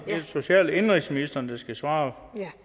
er det social og indenrigsministeren der skal svare